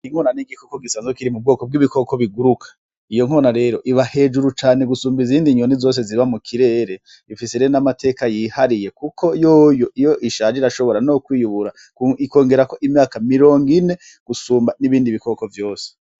Inwona n'igikoko gisa nzokiri mu bwoko bw'ibikoko biguruka iyo nkona rero iba hejuru cane gusumba izindi nyoni zose ziba mu kirere ifise re n'amateka yihariye, kuko yoyo iyo ishaji rashobora no kwiyubura ikongerako imyaka mirongo ine gusumba n'ibindi bikoko vyose.